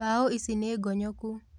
Mbaũ ici nĩ ngonyoku